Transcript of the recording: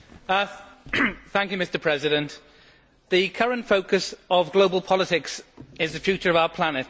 Mr President, the current focus of global politics is the future of our planet.